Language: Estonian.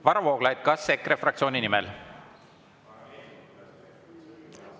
Varro Vooglaid, kas EKRE fraktsiooni nimel?